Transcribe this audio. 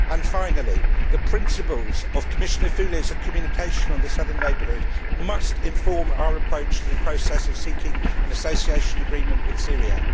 Finally, the principles of Commissioner Füle's communication on the southern neighbourhood must inform our approach to the process of seeking an association agreement with Syria.